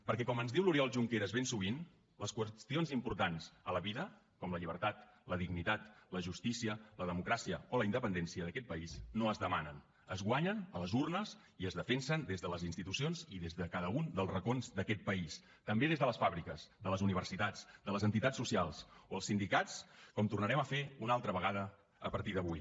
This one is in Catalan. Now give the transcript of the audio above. perquè com ens diu l’oriol junqueras ben sovint les qüestions importants a la vida com la llibertat la dignitat la justícia la democràcia o la independència d’aquest país no es demanen es guanyen a les urnes i es defensen des de les institucions i des de cada un dels racons d’aquest país també des de les fàbriques de les universitats de les entitats socials o els sindicats com tornarem a fer una altra vegada a partir d’avui